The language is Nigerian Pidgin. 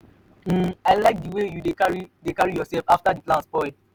nne i like the way you dey carry dey carry yourself after your plan spoil.